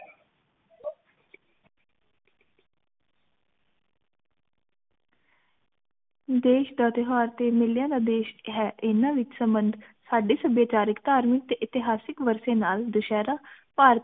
ਦੇਸ਼ ਦਾ ਤਿਉਹਾਰ ਤੇ ਮੇਲਿਆਂ ਦਾ ਦੇਸ਼ ਹੈ ਏਨਾ ਵਿਚ ਸੰਭੰਡ ਸਾਡੇ ਵਿਚਾਰਿਕ ਧਾਰਮਿਕ ਤੇ ਇਤਹਾਸਿਕ ਵਰਸੈ ਨਾਲ ਦੁਸਹਿਰਾ ਭਾਰਤ